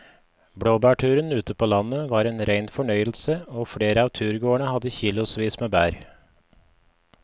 Blåbærturen ute på landet var en rein fornøyelse og flere av turgåerene hadde kilosvis med bær.